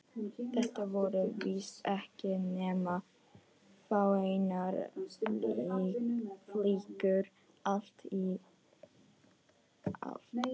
Þetta voru víst ekki nema fáeinar flíkur allt í allt.